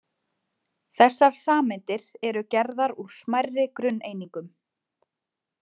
Þessar sameindir eru gerðar úr smærri grunneiningum.